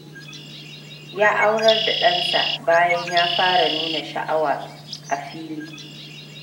Ya aurar da ɗansa, bayan ya fara nuna sha'awa a fili.